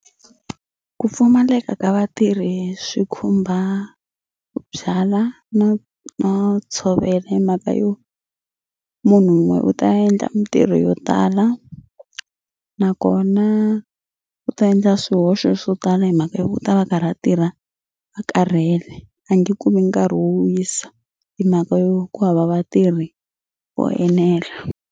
Ku pfumaleka ka vatirhi swi khumba ku byala no no tshovela himhaka yo munhu wun'we u ta endla mitirho yo tala nakona u ta endla swihoxo swo tala himhaka ya ku u ta va a karhi a tirha a karhele a nge kumi nkarhi wo wisa himhaka yo ku hava vatirhi vo enela.